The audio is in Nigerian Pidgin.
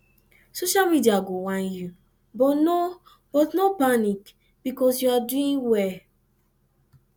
social media go whine yu but no but no panic bikos yu ar doing wel